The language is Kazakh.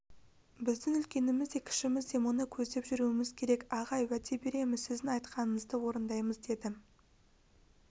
біздің үлкеніміз де кішіміз де мұны көздеп жүруіміз керек ағай уәде береміз сіздің айтқаныңызды орындаймыз деді